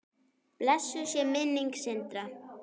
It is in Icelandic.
Blessuð sé minning Sindra.